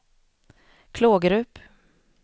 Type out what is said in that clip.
Klågerup